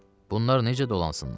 Bunlar necə dolansınlar?